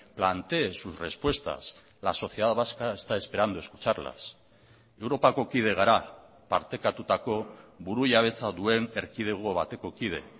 plantee sus respuestas la sociedad vasca está esperando escucharlas europako kide gara partekatutako burujabetza duen erkidego bateko kide